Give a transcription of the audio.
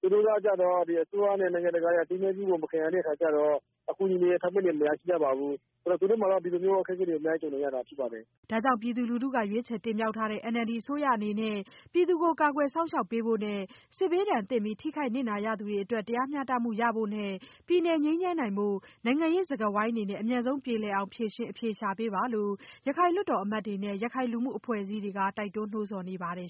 သူတို့ကကျတော့ အစိုးရနဲ့ နိုင်ငံတကာရဲ့ အသိအမှတ်ပြုမှု မရတဲ့အခါကြတော့ အကူအညီ အထောက်အပံ့တွေ မရရှိကြပါဘူး။ အဲတော့ သူတို့မှာ အခက်အခဲတွေ အများကြီး ကြုံနေရတာ ဖြစ်ပါတယ်။” ဒါကြောင့် ပြည်သူလူထုက ရွေးချယ်တင်မြှောက်ထားတဲ့ NLD အစိုးရအနေနဲ့ ပြည်သူကို ကာကွယ်စောင့်ရှောက်ပေးဖို့နဲ့ စစ်ဘေးဒဏ်သင့်ပြီး ထိခိုက်နစ်နာခဲ့ရသူတွေအတွက် တရားမျှတမှုရဖို့နဲ့ ပြည်နယ်ငြိမ်းချမ်းဖို့ နိုင်ငံရေးစကားဝိုင်းတွေနဲ့ အမြန်ဆုံး ပြေလည်အောင် ဖြေရှင်းအဖြေရှာဖို့ ရခိုင်လွှတ်တော်အမတ်တွေနဲ့ ရခိုင်လူမှုအဖွဲ့အစည်းတွေက တိုက်တွန်းနှိုးဆော်နေပါတယ်